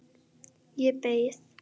Ég beið.